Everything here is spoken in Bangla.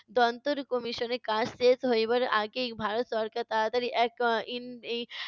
দন্তর commission এর কাজ শেষ হইবার আগেই ভারত সরকার তাড়াতাড়ি এক এর